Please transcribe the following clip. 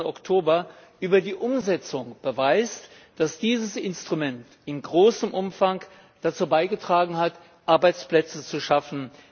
20. Oktober über die Umsetzung beweist, dass dieses Instrument im großen Umfang dazu beigetragen hat, Arbeitsplätze zu schaffen.